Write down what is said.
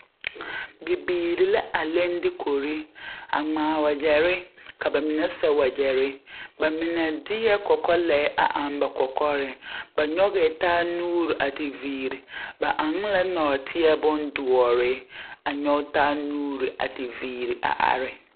Bibiiri la a leŋ dukuri a ŋmaa wagyɛre ka ba mine seɛ wagɛre ba mine de la kɔkɔlɛɛ a eŋ ba kɔkɔreŋ ba nyɔgɛɛ taa nuuri a te viire ba eŋ la nɔɔteɛ bondoɔre a nyɔge taa nuuri a te viire a are.